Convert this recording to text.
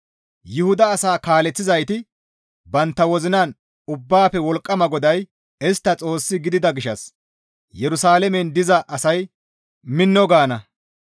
Yuhuda asaa kaaleththizayti bantta wozinan, ‹Ubbaafe Wolqqama GODAY istta Xoossi gidida gishshas Yerusalaamen diza asay mino› gaana.